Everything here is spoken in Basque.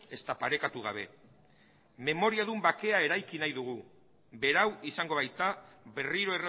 ezta parekatu gabe memoriadun bakea eraiki nahi dugu berau izango baita berriro